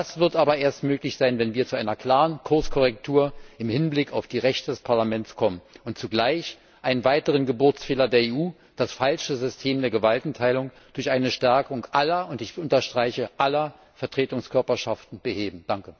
Das wird aber erst möglich sein, wenn wir zu einer klaren Kurskorrektur im Hinblick auf die Rechte des Parlaments kommen und zugleich einen weiteren Geburtsfehler der EU, dass falsche System der Gewaltenteilung durch eine Stärkung aller und ich unterstreiche aller Vertretungskörperschaften beheben!